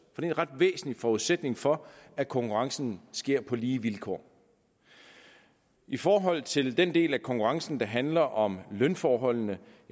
er en ret væsentlig forudsætning for at konkurrencen sker på lige vilkår i forhold til den del af konkurrencen der handler om lønforholdene